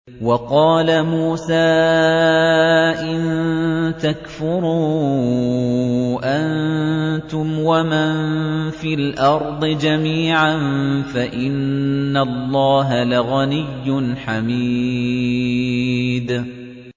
وَقَالَ مُوسَىٰ إِن تَكْفُرُوا أَنتُمْ وَمَن فِي الْأَرْضِ جَمِيعًا فَإِنَّ اللَّهَ لَغَنِيٌّ حَمِيدٌ